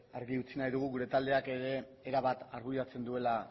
argi utzi nahi dugu gure taldeak ere erabat arbuiatzen duela